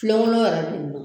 Filenkolon yɛrɛ bɛ ni na.